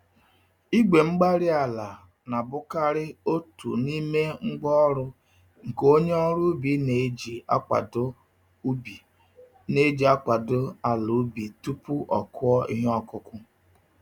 igwe-mgbárí-ala na-abụkarị otú n'ime ngwá ọrụ nke onye ọrụ ubi na-eji akwado ubi na-eji akwado ala ubi tupu akụọ ihe okụkụ